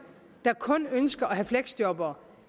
der kun ønsker at have fleksjobbere